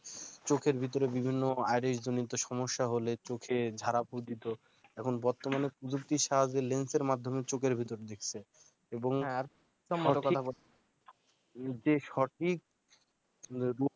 চোখের ভিতরে বিভিন্ন eyerish সমস্যা হলে চোখে ঝাড় ফুঁক দিতো এখন বর্তমানে প্রযুক্তির সাহায্যে স lens মাধ্যমে চোখের ভিতর দেখছে